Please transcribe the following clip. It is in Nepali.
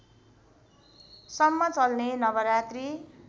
सम्म चल्ने नवरात्रि